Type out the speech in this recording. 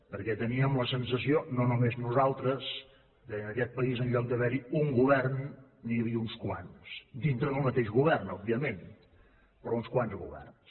perquè teníem la sensació no només nosaltres que en aquest país en lloc d’haver hi un govern n’hi havia uns quants dintre del mateix govern òbviament però uns quants governs